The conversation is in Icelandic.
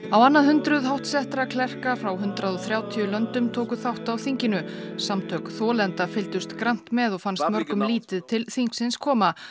á annað hundruð háttsettra klerka frá hundrað og þrjátíu löndum tóku þátt á þinginu samtök þolenda fylgdust grannt með og fannst mörgum lítið til þingsins koma